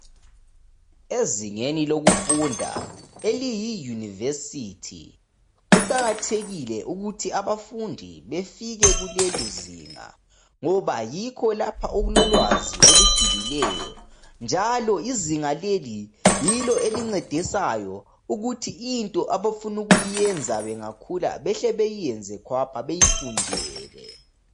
Ezingeni lokufunda. Eliyi university. Kuqakathekile ukuthi abafundi befike kulelizinga, ngoba yikho lapha okulolwazi olujulileyo, njalo izinga leli yilo elincedisayo, ukuthi into abafuna ukuyenza bangakhula. Bahle bayenze. Bayifundele.